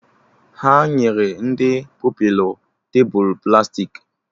Ha nyere ndị Pupilụ tebụl plastiki